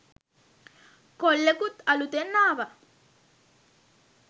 කොල්ලෙකුත් අලුතෙන් ආව